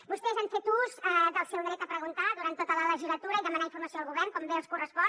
vostès han fet ús del seu dret a preguntar durant tota la legislatura i demanar informació al govern com bé els correspon